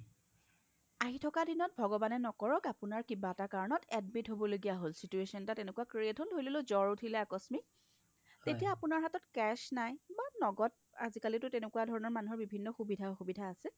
আহি থকা দিনত ভগৱানে নকৰক আপোনাৰ কি এটা কাৰণত আপোনাৰ admit হ'ব লগা হ'ল situation এটা create হ'ল ধৰিললো জ্বৰ উঠিলে আকস্মিক তেতিয়া আপোনাৰ হাতত cash নাই বা নগত আজিকালিটো তেনেকোৱা ধৰণৰ মানুহৰ সুবিধা অসুবিধা আছে